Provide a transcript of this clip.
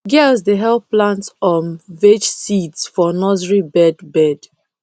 girls dey help plant um veg seeds for nursery bed bed